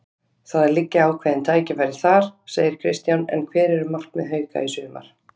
Það liggja ákveðin tækifæri þar, segir Kristján en hver eru markmið Hauka í sumar?